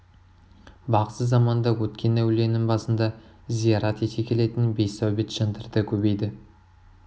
бағзы заманда өткен әулиенің басында зиярат ете келетін бейсаубет жандар да көбейді